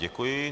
Děkuji.